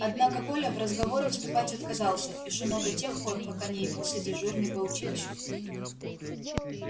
однако коля в разговоры вступать отказался и шумел до тех пор пока не явился дежурный по училищу